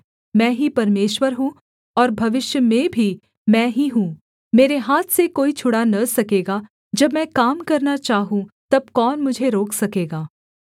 मैं ही परमेश्वर हूँ और भविष्य में भी मैं ही हूँ मेरे हाथ से कोई छुड़ा न सकेगा जब मैं काम करना चाहूँ तब कौन मुझे रोक सकेगा